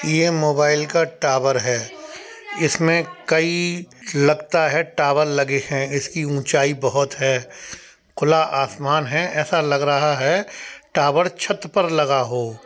ये मोबाइल का टावर है। इसमें कई लगता है टावर लगे हैं। इसकी ऊंचाई बहोत है खुला आसमान है ऐसा लग रहा है टावर छत पर लगा हो।